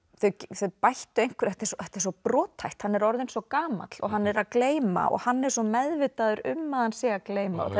þau bættu einhverju þetta er svo brothætt hann er orðinn svo gamall hann er að gleyma og hann er svo meðvitaður um að hann sé að gleyma